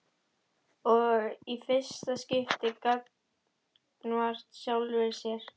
Og í fyrsta skipti gagnvart sjálfri sér.